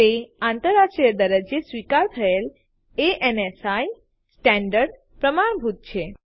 તે આંતરરાષ્ટ્રીય દરજ્જે સ્વીકાર્ય થયેલ અંસી સ્ટેન્ડર્ડ પ્રમાણભૂત છે